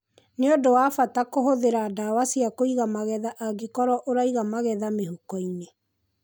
Nĩ ũndũ wa bata kũhũthĩra ndawa cia kũiga magetha angĩkorwo ũraiga magetha mĩhuko-inĩ.